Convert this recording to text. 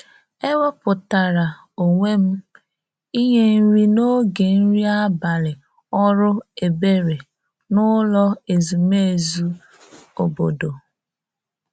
e wepụtara onwe m inye nri n'oge nri abalị ọrụ ebere n'ụlọ ezumezu obodo